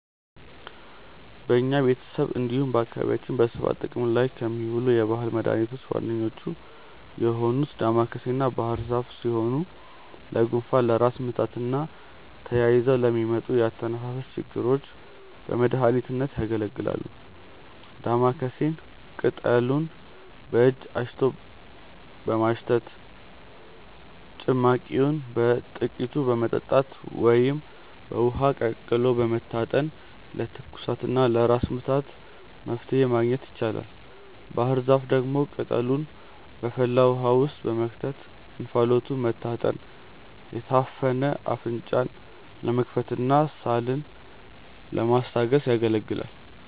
በኛ ቤተሰብ እንዲሁም በአካባቢያችን በስፋት ጥቅም ላይ ከሚውሉ የባህል መድኃኒቶች ዋነኞቹ የሆኑት ዳማከሴና ባህርዛፍ ሲሆኑ ለጉንፋን፣ ለራስ ምታትና ተያይዘው ለሚመጡ የአተነፋፈስ ችግሮች በመድሀኒትነት ያገለግላሉ። ዳማከሴን ቅጠሉን በእጅ አሽቶ በማሽተት፣ ጭማቂውን በጥቂቱ በመጠጣት ወይም በውሃ ቀቅሎ በመታጠን ለትኩሳትና ለራስ ምታት መፍትሔ ማግኘት ይቻላል። ባህርዛፍ ደግሞ ቅጠሉን በፈላ ውሃ ውስጥ በመክተት እንፋሎቱን መታጠን የታፈነ አፍንጫን ለመክፈትና ሳልን ለማስታገስ ያገለግላል።